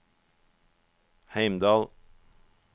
Heimdal